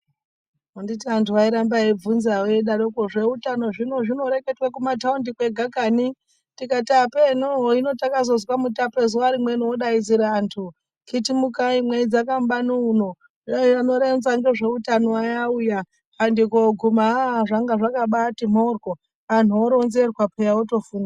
Anditi anthu airamba veibvunza, eidarokwo, zveutano zvino zvinoreketwa kumathaundi kwega kani? Tikati apeeno, hino takazozwa Mutape zuwa rimweni odaidzira anthu, khitimukai mweidzaka mubani uno, anoronza ngezveutano aya auya. Anthu kuguma, aah zvanga zvakabaati mhoryo, anthu oronzerwa pheya, otofunda.